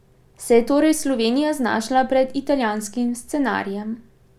Se je torej Slovenija znašla pred italijanskim scenarijem?